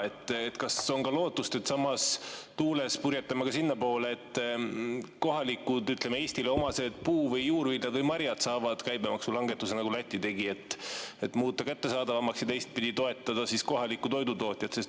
Kas on lootust, et samas tuules purjetame ka sinnapoole, et kohalikud, Eestile omased puu‑ ja juurviljad või marjad saaksid käibemaksulangetuse, nagu tegi Läti, et muuta need kättesaadavamaks ja toetada kohalikku toidutootjat?